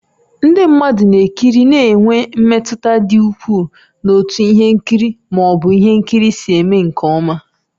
Ndị mmadụ na-ekiri na-enwe mmetụta dị ukwuu n'otú ihe nkiri ma ọ bụ ihe nkiri si eme nke ọma.